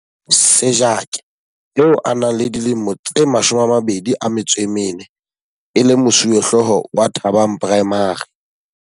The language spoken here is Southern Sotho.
Sejake, eo a nang le dilemo tse 24 e le mosuwehlooho wa Thabang Primary.